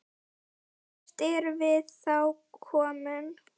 Hvert erum við þá komin?